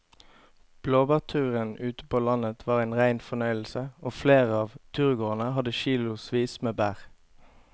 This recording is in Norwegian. Blåbærturen ute på landet var en rein fornøyelse og flere av turgåerene hadde kilosvis med bær.